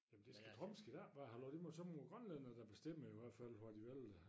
Jamen det skal Trump sgu da ik bare have lov det må så må Grønlænderne da bestemme i hvert fald hvor de vil